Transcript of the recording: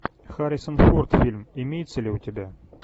харрисон форд фильм имеется ли у тебя